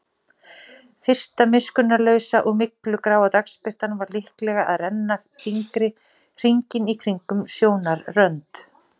Fyrsta miskunnarlausa og myglugráa dagsbirtan var líklega að renna fingri hringinn í kringum sjónarrönd.